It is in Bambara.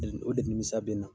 o de nimisa bɛ n na.